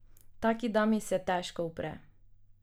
Taki dami se težko upre.